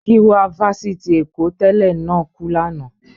Giwa fáfitì Èkó tẹ́lẹ̀ náà kú lánàá.